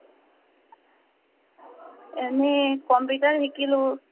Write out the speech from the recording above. এনেই computer শিকিলো